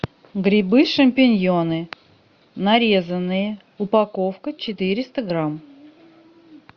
грибы шампиньоны нарезанные упаковка четыреста грамм